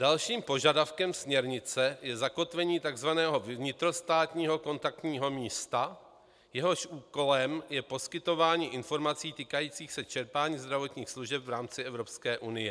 Dalším požadavkem směrnice je zakotvení takzvaného vnitrostátního kontaktního místa, jehož úkolem je poskytování informací týkajících se čerpání zdravotních služeb v rámci Evropské unie.